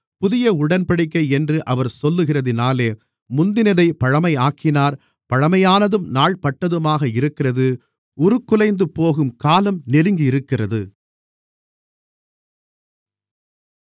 புதிய உடன்படிக்கை என்று அவர் சொல்லுகிறதினாலே முந்தினதைப் பழமையாக்கினார் பழமையானதும் நாள்பட்டதுமாக இருக்கிறது உருக்குலைந்துபோகும் காலம் நெருங்கியிருக்கிறது